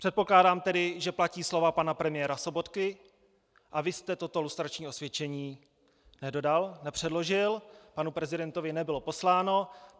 Předpokládám tedy, že platí slova pana premiéra Sobotky, a vy jste toto lustrační osvědčení nedodal, nepředložil, panu prezidentovi nebylo posláno.